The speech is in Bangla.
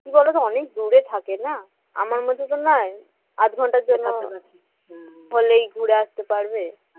কি বলতো অনেক দূরে থাকে না আমার মত তো নয় আধ ঘন্টার জন্য হলেই ঘুরে আসতে পারবে